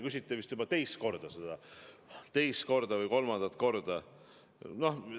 Küsite vist juba teist või kolmandat korda selle kohta.